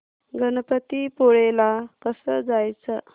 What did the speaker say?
गणपतीपुळे ला कसं जायचं